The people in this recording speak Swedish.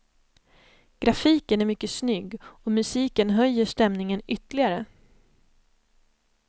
Grafiken är mycket snygg och musiken höjer stämningen ytterligare.